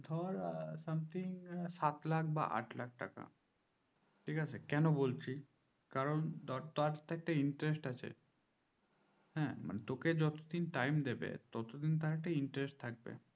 ধর something সাত লাখ বা আট লাখ টাকা ঠিক আছে কেন বলছি কারণ তারতো interest আছে হ্যাঁ তোকে যতদিন টাইম দিবে ততদিন একটা interest থাকবে